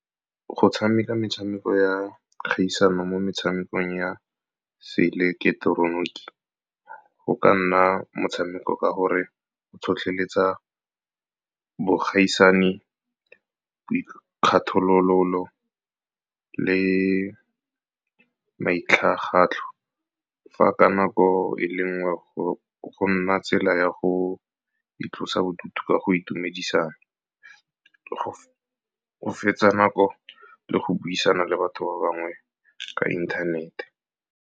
Go tshameka metshameko ya kgaisano mo metshamekong ya se ileketeroniki go ka nna motshameko ka gore go tlhotlheletsa bogaisani, boikgathololo le maitlhagatlho, fa ka nako e le nngwe go nna tsela ya go itlosa bodutu ka go itumedisa, go fetsa nako le go buisana le batho ba bangwe ka inthanete.